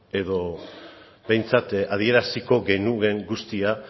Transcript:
edo behintzat adieraziko genuen guztia